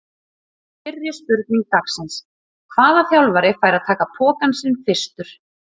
Fyrri spurning dagsins: Hvaða þjálfari fær að taka pokann sinn fyrstur?